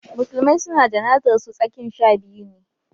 musulmai su na jana'zar su tsakin shabiyu ne